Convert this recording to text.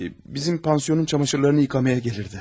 Bizim pansionun camaşırlarını yumağa gəlirdi.